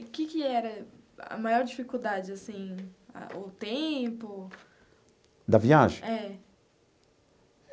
E o que que era a maior dificuldade, assim, a o tempo... Da viagem? É.